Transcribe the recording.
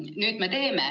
Nüüd me teeme.